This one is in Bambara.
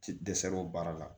Ti dɛsɛ o baara la